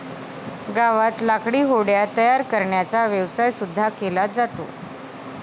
गावात लाकडी होड्या तयार करण्याचा व्यवसाय सुद्धा केला जातो.